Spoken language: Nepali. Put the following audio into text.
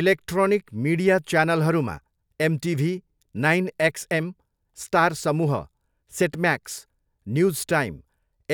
इलेक्ट्रोनिक मिडिया च्यानलहरूमा एमटिभी, नाइन एक्सएम, स्टार समूह, सेट म्याक्स, न्युज टाइम,